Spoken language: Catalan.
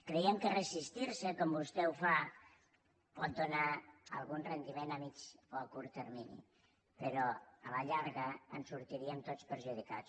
creiem que resistir se com vostè fa pot donar algun rendiment a mitjà o a curt termini però a la llarga en sortiríem tots perjudicats